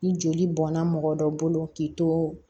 Ni joli bɔnna mɔgɔ dɔ bolo k'i to